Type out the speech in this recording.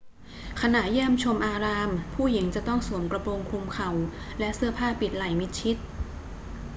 ขณะเยี่ยมชมอาราม ผู้หญิงจะต้องสวมกระโปรงคลุมเข่า และเสื้อผ้าปิดไหล่มิดชิด